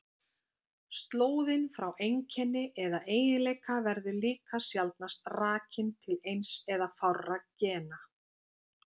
Slóðin frá einkenni eða eiginleika verður líka sjaldnast rakin til eins eða fárra gena.